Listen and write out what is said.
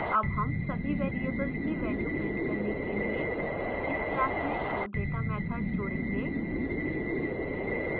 add हम सभी variables की values print करने के लिए इस class में showdata मैथड जोडेंगे